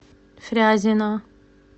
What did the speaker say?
фрязино